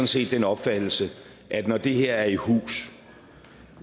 set den opfattelse at når det her er i hus